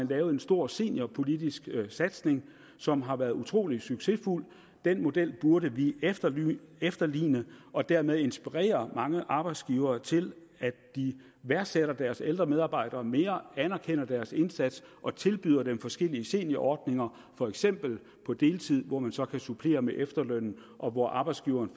lavet en stor seniorpolitisk satsning som har været utrolig succesfuld den model burde vi efterligne efterligne og dermed inspirere mange arbejdsgivere til at de værdsætter deres ældre medarbejdere mere anerkender deres indsats og tilbyder dem forskellige seniorordninger for eksempel på deltid hvor man så kan supplere med efterlønnen og hvor arbejdsgiveren